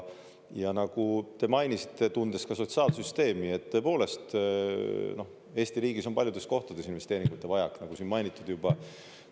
Ja nagu te mainisite, tundes ka sotsiaalsüsteemi, et tõepoolest Eesti riigis on paljudes kohtades investeeringute vajak, nagu siin mainitud juba.